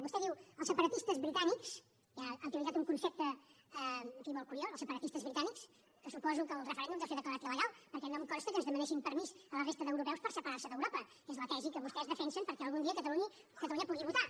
vostè diu els separatistes britànics i ha utilitzat un concepte en fi molt curiós els separatistes britànics que suposo que el referèndum deu ser declarat il·legal perquè no em consta que ens demanessin permís a la resta d’europeus per separar se d’europa que és la tesi que vostès defensen perquè algun dia catalunya pugui votar